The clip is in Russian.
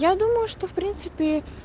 я думаю что в принципе